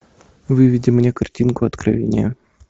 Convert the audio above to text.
выведи мне картинку откровения